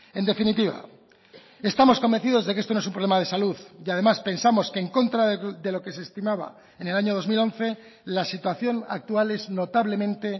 en definitiva estamos convencidos de que esto no es un problema de salud y además pensamos que en contra de lo que se estimaba en el año dos mil once la situación actual es notablemente